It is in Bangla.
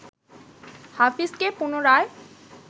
হাফিজকে পুনরায়